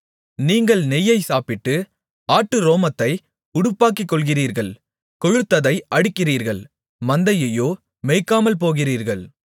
நீங்கள் நெய்யைச் சாப்பிட்டு ஆட்டு ரோமத்தை உடுப்பாக்கிக்கொள்ளுகிறீர்கள் கொழுத்ததை அடிக்கிறீர்கள் மந்தையையோ மேய்க்காமல்போகிறீர்கள்